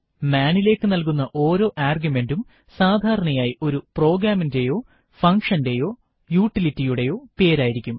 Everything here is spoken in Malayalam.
മാൻ നിലേക്ക് നൽകുന്ന ഓരോ ആർഗ്യുമെന്റും സാധാരണയായി ഒരു പ്രോഗ്രാമിന്റെയോ ഫന്ഗ്ഷന്റെയോ യൂട്ടിലിറ്റിയുടെയോ പേരായിരിക്കും